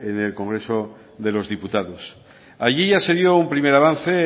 en el congreso de los diputados allí ya se dio un primer avance